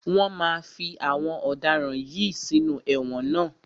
Wọ́n máa fí àwọn ọ̀daràn yìí sínú ẹ̀wọ̀n ná.